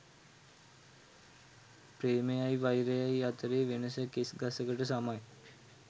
ප්‍රේමයයි වෛරයයි අතරේ වෙනස කෙස් ගසකට සමයි